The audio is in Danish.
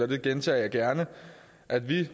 gentager det gerne at vi